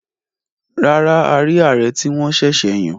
Rárá, a rí ààrẹ tí wọ́n sẹ̀sẹ̀ yàn.